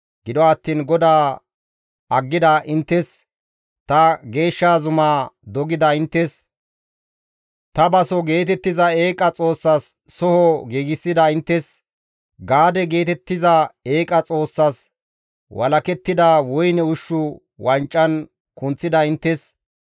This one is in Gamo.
Gido attiin GODAA aggida inttes, ta geeshsha zumaa dogida inttes, ‹Ta baso› geetettiza eeqa xoossas soho giigsida inttes, ‹Gaade› geetettiza eeqa xoossas walakettida woyne ushshu wancan kunththida inttes,